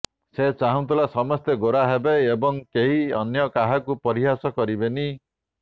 ସେ ଚାହୁଁଥିଲା ସମସ୍ତେ ଗୋରା ହେବେ ଏବଂ କେହି ଅନ୍ୟ କାହାକୁ ପରିହାସ କରିପାରିବନି